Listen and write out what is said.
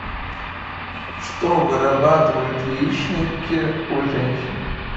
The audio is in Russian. что вырабатывают яичники у женщин